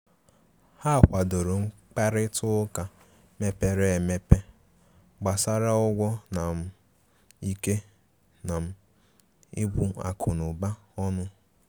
Ha kwàdòrò mkparịta ụka mepere emepe gbàsara ụgwọ na um ikè um ibu akụ̀nụba ọnụ.